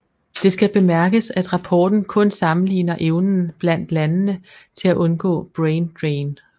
Det skal bemærkes at rapporten kun sammenligner evnen blandt landene til at undgå brain drain